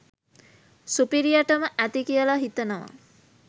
සුපිරියටම ඇති කියලා හිතනවා